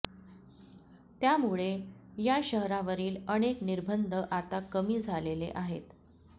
त्यामुळे या शहरावरील अनेक निर्बंध आता कमी झालेले आहेत